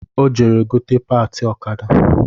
Ọ jere gote patị ọkada